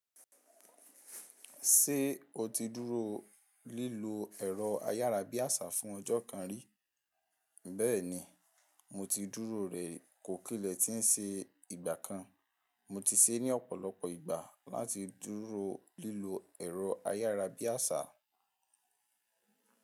Ṣé o ti dúró lílo ẹ̀rọ ayárabíàṣá fún ọjọ́ kan rí? Bẹ́ẹ̀ni, mo ti dúró rẹ̀ kò kílẹ̀ tí ń ṣe ìgbà kan. Mo ti ṣe é ní ọ̀pọ̀lọpọ̀ ìgbà láti dúró lílo ẹ̀rọ ayárabíàṣá.